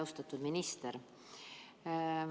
Austatud minister!